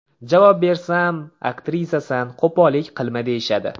Javob bersam, aktrisasan qo‘pollik qilma deyishadi.